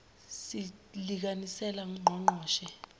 si iikasekela ngqongqoshe